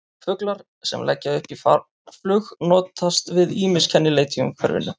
Fuglar sem leggja upp í farflug notast við ýmis kennileiti í umhverfinu.